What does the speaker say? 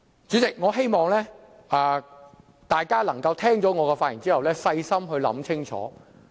主席，我希望大家聽過我的發言後，可以細心想清楚。